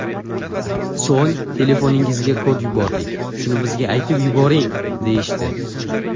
So‘ng ‘telefoningizga kod yubordik, shuni bizga aytib yuboring‘, deyishdi.